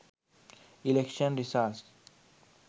election results